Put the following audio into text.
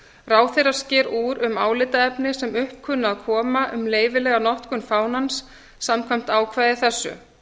ráðherra sker úr um álitaefni sem upp kunna að koma um leyfilega notkun fánans samkvæmt ákvæði þessu ég